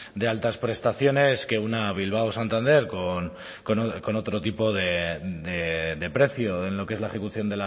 de altas prestaciones que una bilbao santander con otro tipo de precio en lo que es la ejecución